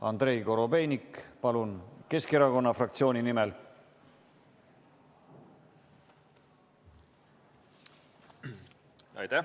Andrei Korobeinik, palun, Keskerakonna fraktsiooni nimel!